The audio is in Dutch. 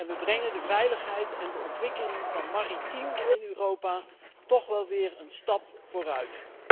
We brengen de veiligheid en de ontwikkeling van Maritiem in Europa toch wel weer een stap vooruit.